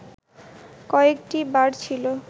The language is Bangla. কয়েকটি বার ছিল